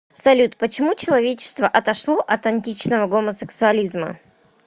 салют почему человечество отошло от античного гомосексуализма